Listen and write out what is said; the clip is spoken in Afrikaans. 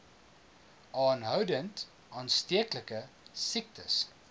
aanhoudend aansteeklike siektes